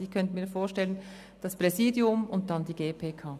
Ich könnte mir das Präsidium und die GPK vorstellen.